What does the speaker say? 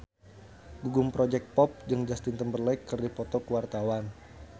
Gugum Project Pop jeung Justin Timberlake keur dipoto ku wartawan